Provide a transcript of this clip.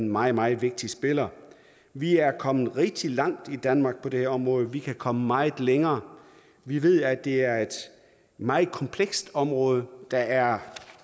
meget meget vigtige spillere vi er kommet rigtig langt i danmark på det her område vi kan komme meget længere vi ved at det er et meget komplekst område der er